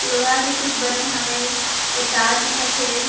लोहा के कुछ बने हावय ओ तार दिखत हे।